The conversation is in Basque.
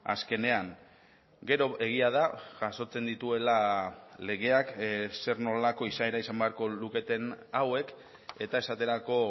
azkenean gero egia da jasotzen dituela legeak zer nolako izaera izan beharko luketen hauek eta esaterako